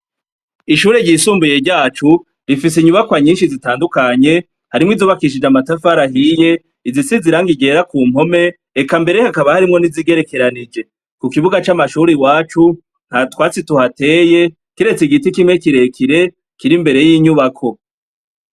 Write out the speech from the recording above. Ishure ryisumbuye ryacu, rifise inyubakwa nyinshi zitandukanye, harimwo izubakishijwe amatafari ahiye, izisize irangi ryera kumpome eka mbere hakaba harimwo nizigerekeranije. Kukibuga c'amashure iwacu ,ntatwatsi tuhateye, kiretse igiti kimwe kirekire kirimbere y'inyubako.